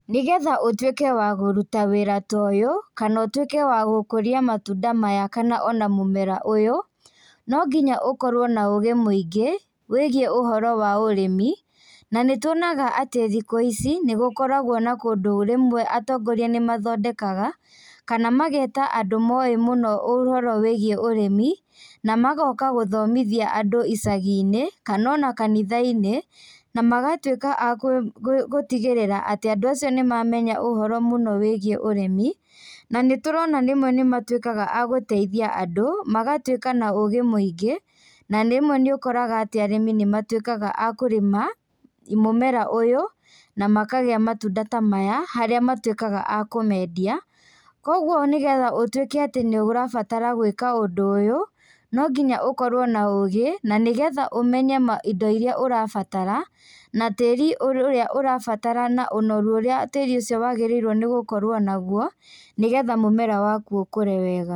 Nĩgetha ũtuĩke wa gũruta wĩra ta ũyũ, kana ũtuĩke wa gũkũria matunda maya, kana ona mũmera ũyũ, nonginya ũkorwo na ũgĩ mũingĩ, wĩgiĩ ũhoro wa ũrĩmi, na nĩtuonaga atĩ thikũ ici, nĩgũkoragwo na kũndũ rĩmwe atongoria nĩmathondekaga, kana mageta andũ moĩ mũno ũhoro wĩgiĩ ũrĩmi, na magoka gũthomithia andũ icaginĩ, kana ona kanithainĩ, na magatuĩka a kũtigĩrĩra atĩ andũ acio nĩmamenya ũhoro mũno wĩgiĩ ũrĩmi, na nĩturona rĩmwe nĩmatuĩkaga a gũteithia andũ, magatuĩka na ũgĩ mũingĩ, na rĩmwe nĩũkoraga atĩ arĩmi nĩmatuĩkaga a kũrĩma, mũmera ũyũ, namakagĩa matunda ta maya, harĩa matuĩkaga a kũmendia, koguo nĩgetha ũtuĩke atĩ nĩũrabatara gwĩka ũndũ ũyũ, nonginya ũkorwo na ũgĩ, na nĩgetha ũmenye indo iria ũrabatara, na tĩri ũrĩa ũrabatara na ũnoru ũrĩa tĩri ũcio wagĩrĩirwo nĩgũkorwo naguo, nĩgetha mũmera waku ũkũre wega.